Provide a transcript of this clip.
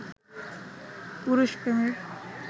পুরুষ প্রেমিক